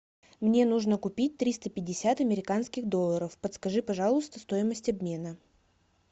мне нужно купить триста пятьдесят американских долларов подскажи пожалуйста стоимость обмена